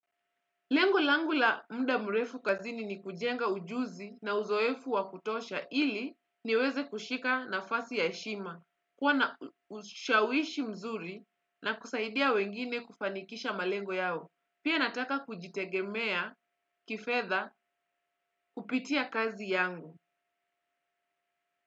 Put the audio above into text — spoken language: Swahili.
Lengo langu la muda mrefu kazini ni kujenga ujuzi na uzoefu wakutosha ili niweze kushika nafasi ya heshima, kuwa na ushawishi mzuri na kusaidia wengine kufanikisha malengo yao. Pia nataka kujitegemea kifedha kupitia kazi yangu.